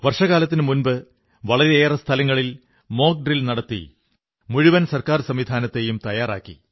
വർഷകാലത്തിനുമുമ്പ് വളരെയേറെ സ്ഥലങ്ങളിൽ mock drill നടത്തി മുഴുവൻ സർക്കാർ സംവിധാനത്തെയും തയ്യാറാക്കി